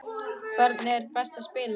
Hvernig er best að spila?